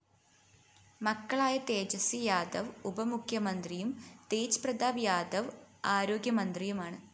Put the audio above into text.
മക്കളായ തേജസ്വി യാദവ് ഉപമുഖ്യമന്ത്രിയും തേജ് പ്രതാപ് യാദവ് ആരോഗ്യമന്ത്രിയുമാണ്